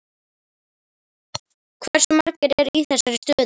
Hversu margir eru í þessari stöðu?